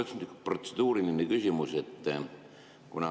Aga mul on üks protseduuriline küsimus.